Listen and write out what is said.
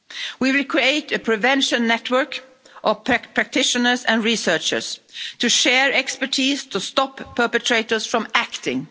We will create a prevention network of practitioners and researchers to share expertise to stop perpetrators from acting.